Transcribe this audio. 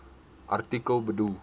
artikel bedoel